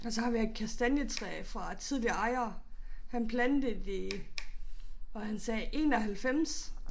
Og så har vi et kastanjetræ fra tidligere ejere. Han plantede i var han sagde 91